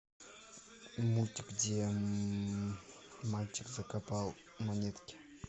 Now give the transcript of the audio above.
мультик где мальчик закопал монетки